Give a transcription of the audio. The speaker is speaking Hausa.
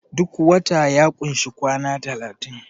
duk wata ya kunshi kwana talatin